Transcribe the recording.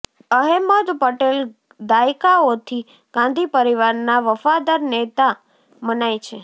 અહેમદ પટેલ દાયકાઓથી ગાંધી પરિવારના વફાદાર નેતા મનાય છે